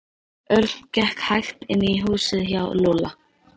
Örn gekk hægt inn í húsið hjá Lúlla.